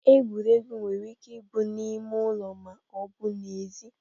Egwuregwu nwere ike bụrụ n'ime ụlọ ma ọ bụ n'ezi.